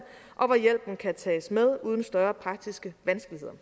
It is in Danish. og hvor hjælpen kan tages med uden større praktiske vanskeligheder